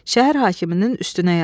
Şəhər hakiminin üstünə yazdı.